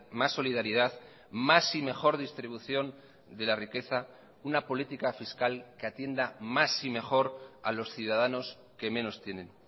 más solidaridad más y mejor distribución de la riqueza una política fiscal que atienda más y mejor a los ciudadanos que menos tienen